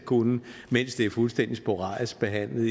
kunne mens det er fuldstændig sporadisk behandlet